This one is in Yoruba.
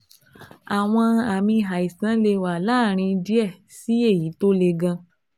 Àwọn àmì àìsàn lè wà láàárín díẹ̀ sí èyí tó le gan